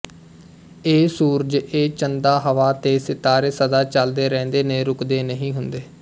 ਇਹ ਸੂਰਜ ਇਹ ਚੰਦਾ ਹਵਾ ਤੇ ਸਿਤਾਰੇ ਸਦਾ ਚਲਦੇ ਰਹਿੰਦੇ ਨੇ ਰੁਕਦੇ ਨਹੀਂ ਹੁੰਦੇ